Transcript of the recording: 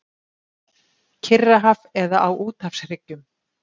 Kyrrahaf eða á úthafshryggjum.